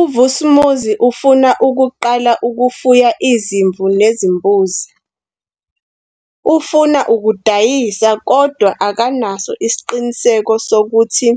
UVusimuzi ufuna ukuqala ukufuya izimvu nezimbuzi. Ufuna ukudayisa kodwa akanaso isiqiniseko sokuthi